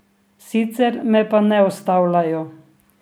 Sicer me pa ne ustavljajo.